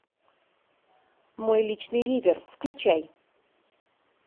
мой личный ривер включай